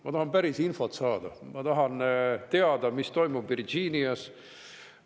Ma tahan päris infot saada, ma tahan teada, mis toimub Virginias.